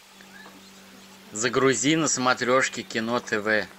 загрузи на смотрешке кино тв